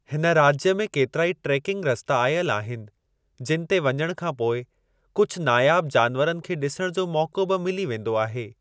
हिन राज्य में केतिरा ई ट्रेकिंग रस्ता आयल आहिनि, जिन ते वञण खां पोइ कुझ नायाब जानवरनि खे ॾिसण जो मौको बि मिली वेंदो आहे।